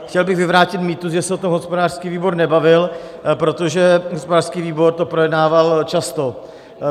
Chtěl bych vyvrátit mýtus, že se o tom hospodářský výbor nebavil, protože hospodářský výbor to projednával často.